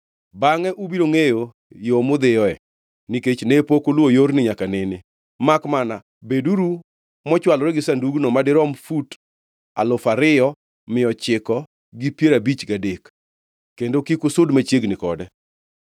Bangʼe ubiro ngʼeyo yo mudhiyoe, nikech ne pok uluwo yorni nyaka nene. Makmana, beduru mochwalore gi sandugno, madirom fut alufu ariyo mia ochiko gi piero abich gadek; kendo kik usud machiegni kode.”